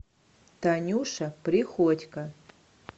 танюша приходько